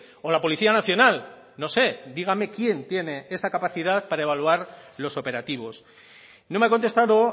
o la policía nacional no sé dígame quién tiene esa capacidad para evaluar los operativos no me ha contestado